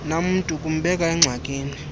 namntu kumbeka engxakini